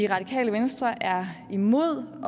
radikale venstre er imod